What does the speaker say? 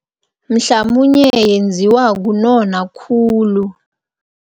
Mhlamunye yenziwa kunona khulu.